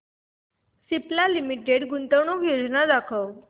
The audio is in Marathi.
सिप्ला लिमिटेड गुंतवणूक योजना दाखव